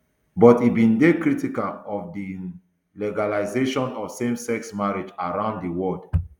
but e bin dey critical of di um legalisation of samesex marriage around di world